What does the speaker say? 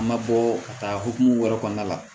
An ma bɔ ka taa hokumu wɛrɛ kɔnɔna la